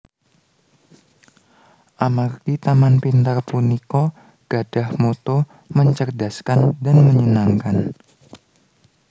Amargi Taman Pintar punika gadhah motto mencerdaskan dan menyenangkan